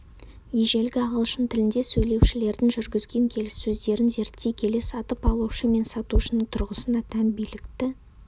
ежелгі ағылшын тілінде сөйлеушілердің жүргізген келіссөздерін зерттей келе сатып алушы мен сатушының тұрғысына тән билікті